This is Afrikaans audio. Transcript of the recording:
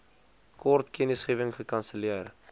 kort kennisgewing gekanselleer